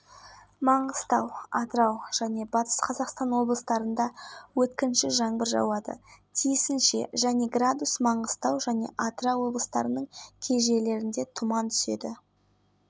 артуынан қызылорда облысындағы сырдария өзенінде су деңшейі көтеріле түседі республиканың оңтүстік оңтүстік-шығыс және шығысындағы жеке